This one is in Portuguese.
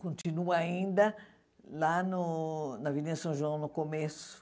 Continua ainda lá no na Avenida São João, no começo.